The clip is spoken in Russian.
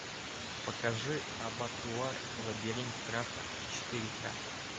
покажи абатуар лабиринт страха четыре ка